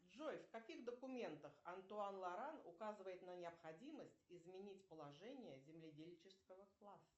джой в каких документах антуан лоран указывает на необходимость изменить положение земледельческого класса